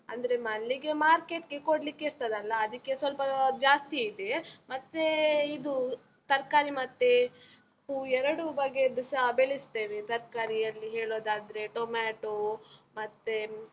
ಅಂದ್ರೆ ಮಲ್ಲಿಗೆ market ಕೊಡ್ಲಿಕ್ಕೆ ಇರ್ತದಲ್ಲ? ಅದಕ್ಕೆ ಸ್ವಲ್ಪ ಜಾಸ್ತಿ ಇದೆ, ಮತ್ತೇ ಇದು ತರ್ಕಾರಿ ಮತ್ತೆ ಹೂ ಎರಡೂ ಬಗೆಯದ್ದೂಸ ಬೆಳಿಸ್ತೇವೆ, ತರ್ಕಾರಿಯಲ್ಲಿ ಹೇಳೋದಾದ್ರೆ ಟೊಮೇಟೋ ಮತ್ತೆ.